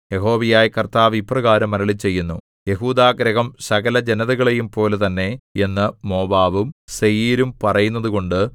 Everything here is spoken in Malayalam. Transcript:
യഹോവയായ കർത്താവ് ഇപ്രകാരം അരുളിച്ചെയ്യുന്നു യെഹൂദാഗൃഹം സകല ജനതകളെയുംപോലെ തന്നെ എന്ന് മോവാബും സേയീരും പറയുന്നതുകൊണ്ട്